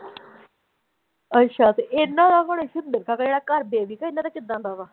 ਅੱਛਾ ਤੇ ਇਹਨਾਂ ਦਾ ਹੁਣ ਸਿੰਦਰ ਕਾ ਕਿਹੜਾ ਘਰ ਇਹਨਾਂ ਦਾ ਕਿੱਦਾਂ ਦਾ ਵਾ।